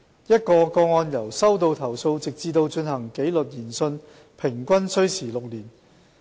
一宗個案由收到投訴直至進行紀律研訊平均需時6年。